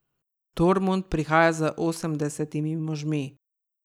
Tormund prihaja z osemdesetimi možmi.